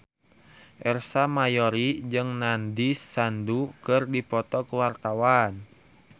Ersa Mayori jeung Nandish Sandhu keur dipoto ku wartawan